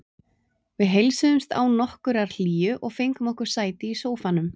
Við heilsuðumst án nokkurrar hlýju og fengum okkur sæti í sófanum.